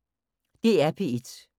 DR P1